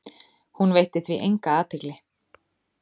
Hún veitti því enga athygli.